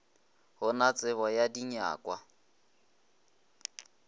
go na tsebo ya dinyakwa